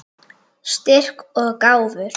Styrk og gáfur.